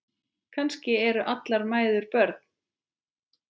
Kannski eru allar mæður börn.